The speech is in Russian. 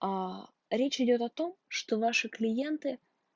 аа речь идёт о том что ваши клиенты